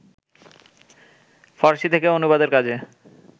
ফরাসি থেকে অনুবাদের কাজে